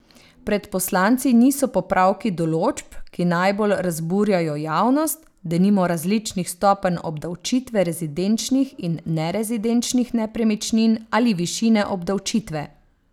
Pred poslanci niso popravki določb, ki najbolj razburjajo javnost, denimo različnih stopenj obdavčitve rezidenčnih in nerezidenčnih nepremičnin ali višine obdavčitve.